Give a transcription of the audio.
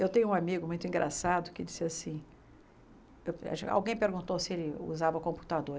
Eu tenho um amigo muito engraçado que disse assim... Eu alguém perguntou se ele usava computador.